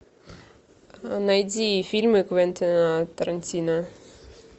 найди фильмы квентина тарантино